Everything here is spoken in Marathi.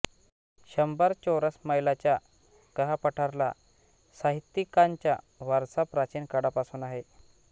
शंभर चौरस मैलाच्या कहापठारला साहित्यिकांचा वारसा प्राचीन काळापासून आहे